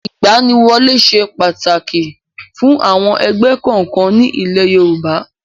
Ìgbaniwọlé ṣe pàtàkì fún àwọn ẹgbẹ́ kọ̀ọ̀kan ní ilé Yorùbá.